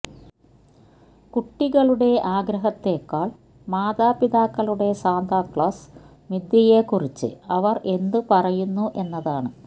കുട്ടികളുടെ ആഗ്രഹത്തെക്കാൾ മാതാപിതാക്കളുടെ സാന്താക്ലാസ് മിഥ്യയെക്കുറിച്ച് അവർ എന്ത് പറയുന്നു എന്നതാണ്